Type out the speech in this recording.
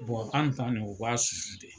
an ta nin o b'a de